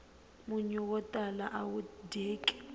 munyu wo tala awu dyeki